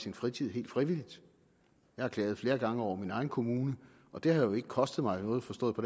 i fritiden helt frivilligt jeg har klaget flere gange over min egen kommune og det har jo ikke kostet mig noget forstået på